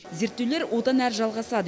зерттеулер одан әрі жалғасады